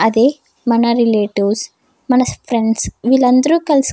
అదే మన రిలేటివ్స్ మన ఫ్రెండ్స్ వీళ్ళందరూ కలిసి --